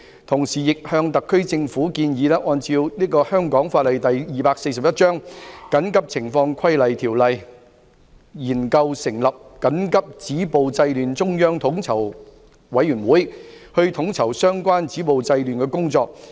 同時亦向特區政府建議，根據香港法例第241章《緊急情況規例條例》，研究成立緊急止暴制亂中央統籌委員會，統籌相關止暴制亂的工作。